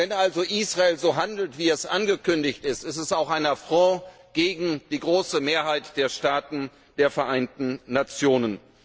Wenn also Israel so handelt, wie es angekündigt hat, ist dies auch ein Affront gegen die große Mehrheit der Staaten der Vereinten Nationen.